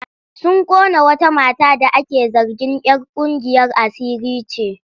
Sun ƙona wata mata da ake zargin'yar ƙungiyar asiri ce.